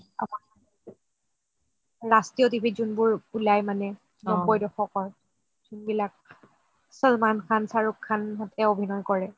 ৰাষ্ট্ৰী়য় TV ত যোনবোৰ উলাই মানে নবৈ দশকৰ যোনবিলাক salman khan shahrukh khan হতে অভিনয় কৰে